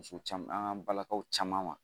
Muso caman an balakaw caman ma